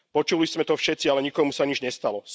Počuli sme to všetci, ale nikomu sa nič nestalo.